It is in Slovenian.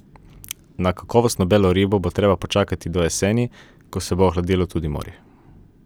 Na kakovostno belo ribo bo treba počakati do jeseni, ko se bo ohladilo tudi morje.